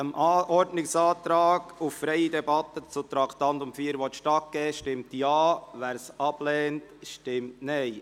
Wer dem Ordnungsantrag auf freie Debatte zu Traktandum 4 stattgeben will, stimmt Ja, wer dies ablehnt, stimmt Nein.